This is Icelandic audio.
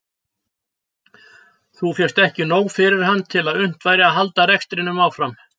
Þá fékkst ekki nóg fyrir hann til að unnt væri að halda rekstrinum áfram.